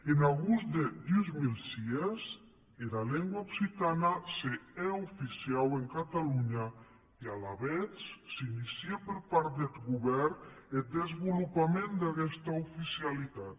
en agost de dos mil sis era lengua occitana se hè oficiau en catalonha e alavetz s’inície per part deth govèrn eth desvolopament d’aguesta oficialitat